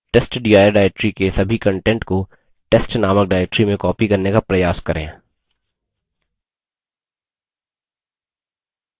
testdir directory के सभी contents को testनामक directory में copy करने का प्रयास करें